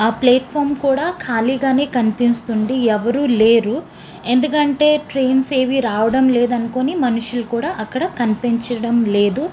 ఆహ్ ప్లాటుఫామ్ కూడా ఖాళీగానే కనిపిస్తుంది ఎవరు లేరు ఎందుకంటే ట్రైన్స్ ఏవి రావడం లేదు అనుకోని మనుషులు కూడా అక్కడ కనిపించటం లేదు.